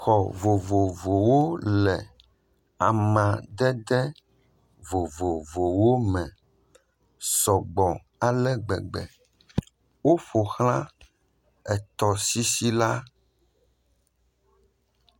Xɔ vovovowo le amadede vovovowo me sɔgbɔ ale gbegbe, woƒo xlã etɔsisi la.